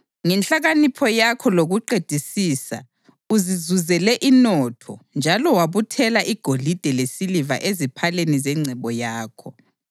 Ngenhlakanipho yakho lokuqedisisa uzizuzele inotho njalo wabuthela igolide lesiliva eziphaleni zengcebo yakho.